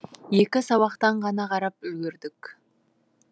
екі сабақтан ғана қарап үлгердік